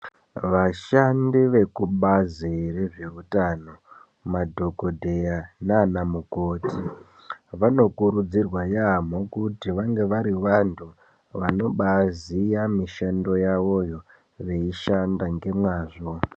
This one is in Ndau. Vashandi vekubazi rezvehutano madhogodheya nana mukoti. Vano kurudzirwa yaamho kuti vange vari vantu vanobaziya mishando yavoyo veishanda ngemwazvo.